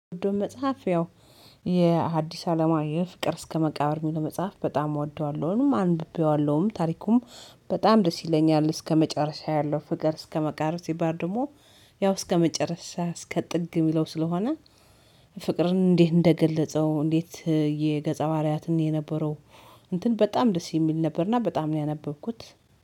ወዶ መጽሐፍ ያው የሃዲስ አለማየሁ ፍቅር እስከ መቃብር ሚለው መጽሐፍ በጣም እወደዋለሁንም አንብቤዋለሁም ታሪኩም በጣም ደስ ይለኛል። እስከመጨረሻ ያለው ፍቅር እስከ መቃብር ሲባል ደግሞ ያው እስከመጨረሻ እስከ ጥግ የሚለው ስለሆነ። ፍቅርን እንዴት እንደገለጸው እንዴት የገጸ ባህሪያትን የነበረው እንትን በጣም ደስ የሚል ነበርና በጣም ነው ያነበብኩት።